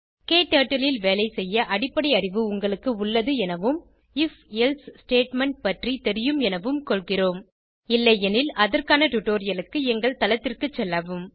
க்டர்ட்டில் ல் வேலைசெய்ய அடிப்படை அறிவு உங்களுக்கு உள்ளது எனவும் if எல்சே ஸ்டேட்மெண்ட் பற்றி தெரியும் எனவும் கொள்கிறோம் இல்லையெனில் அதற்கான டுடோரியலுக்கு எங்கள் தளத்திற்கு செல்லவும்